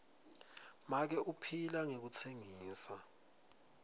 make uphila ngekutsengisa